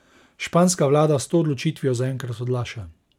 Španska vlada s to odločitvijo zaenkrat odlaša.